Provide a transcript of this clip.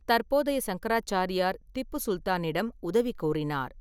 தற்போதைய சங்கராச்சாரியார் திப்பு சுல்தானிடம் உதவி கோரினார்.